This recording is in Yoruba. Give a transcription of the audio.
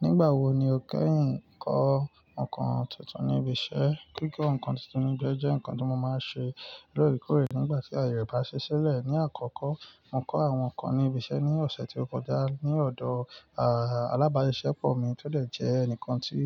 Nígbà wo ni o kẹ́yìn kọ́ nǹkan tuntun ní ibi iṣẹ́? Kíko ǹkan tuntun ní ibi ii jẹ́ ǹkan tó máa ń ṣe lórekórè nígbà tí ayẹ e bá ṣi sílẹ̀. Ni àkọ́kọ́, mo kọ́ àwọn ǹkan ní ibi iṣẹ́ ní ọ̀sẹ̀ tí ó kọjá ní ọ̀dọ̀, àà, alábáṣiepọ̀ mi tó lè jẹ́ ẹnìkan tí